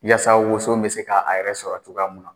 Yaasa woso bɛ se ka a yɛrɛ sɔrɔ cogoya mun na